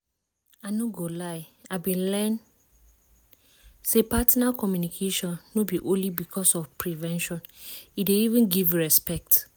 i no go lie i been learn say partner communication no be only because of prevention e dey even give respect